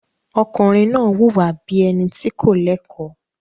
Ọkùnrin náà wùwà bí i ẹni tí kò lẹ́kọ̀ọ́.